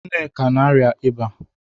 Nneka na-arịa ịba